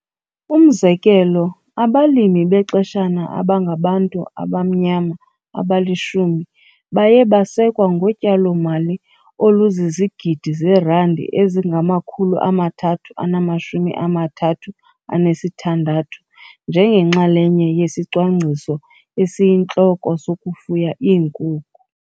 Umzekelo, abalimi bexeshana abangabantu abamnyama abali-10 baye basekwa ngotyalomali oluzizigidi zeerandi ezingama-336 njengenxalenye yesicwangciso esiyintloko sokufuya iinkukhu.